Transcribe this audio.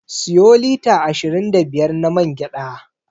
Siyo lita ashirin da biyar na man gyaɗa.